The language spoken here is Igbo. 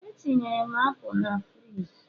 Etinyere m apụl na frigi